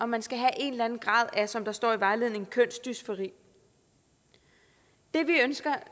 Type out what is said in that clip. man skal have en eller anden grad af som der står i vejledningen kønsdysfori det vi ønsker